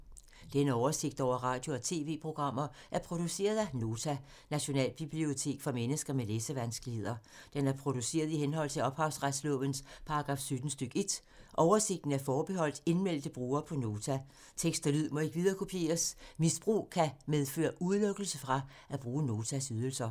Denne oversigt over radio og TV-programmer er produceret af Nota, Nationalbibliotek for mennesker med læsevanskeligheder. Den er produceret i henhold til ophavsretslovens paragraf 17 stk. 1. Oversigten er forbeholdt indmeldte brugere på Nota. Tekst og lyd må ikke viderekopieres. Misbrug kan medføre udelukkelse fra at bruge Notas ydelser.